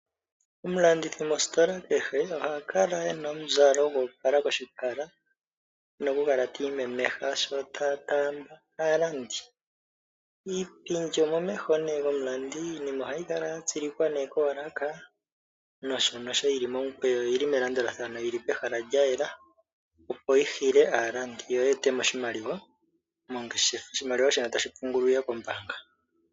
Omulandithi mositola kehe ohakala e na omuzalo go opala. Koshipala oku na okukala ti imemeha sho ta taamba aalandi . Iipindi omomeho gomulandi. Iinima ohayi kala ya tsilikwa koolaka nosho nosho yi li momukweyo yo oyi li melandulathano yi li pehala lya yela opo yi hile aalandi yo yi etemo oshimaliwa mongeshefa, oshimaliwa shino tashi pungulwa kombaanga.